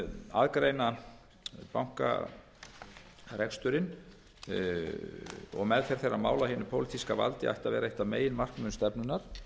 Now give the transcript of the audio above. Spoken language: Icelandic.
aðgreina bankareksturinn og meðferð þeirra mála hinu pólitíska valdi ætti að vera eitt af meginmarkmiðum stefnunnar